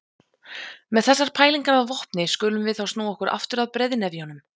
Með þessar pælingar að vopni skulum við þá snúa okkur aftur að breiðnefjunum.